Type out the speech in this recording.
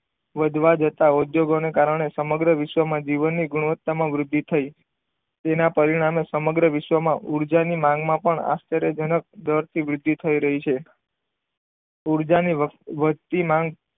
વધતા જતા ઉદ્યોગોને કારણે સમગ્ર વિશ્વની જીવનની ગુણવત્તામાં વૃદ્ધિ થઈ. તેના પરિણામે સમગ્ર વિશ્વમાં ઊર્જા ની માંગમાં પણ આશ્ચર્યજનક દરથી વૃદ્ધિ થઈ રહી છે. ઊર્જાની વધતી માંગ,